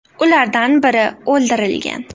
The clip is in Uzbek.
Ulardan biri o‘ldirilgan.